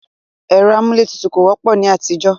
ẹ̀rọ amúlé tutù kò wọ́pọ̀ ní àtijọ́.